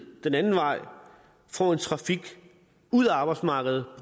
den anden vej får en trafik ud af arbejdsmarkedet